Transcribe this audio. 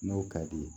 N'o ka di ye